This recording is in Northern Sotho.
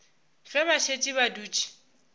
ge ba šetše ba dutše